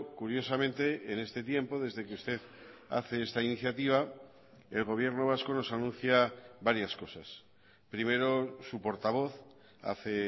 curiosamente en este tiempo desde que usted hace esta iniciativa el gobierno vasco nos anuncia varias cosas primero su portavoz hace